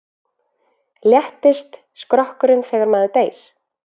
Léttist skrokkurinn þegar maður deyr?